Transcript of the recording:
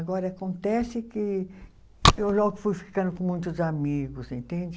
Agora, acontece que eu logo fui ficando com muitos amigos, entende?